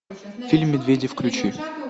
фильм медведи включи